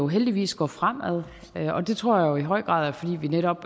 heldigvis går fremad og det tror jeg i høj grad er fordi vi netop